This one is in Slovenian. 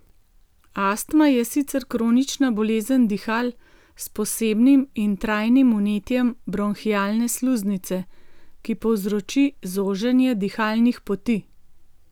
Astma je sicer kronična bolezen dihal s posebnim in trajnim vnetjem bronhialne sluznice, ki povzroči zoženje dihalnih poti.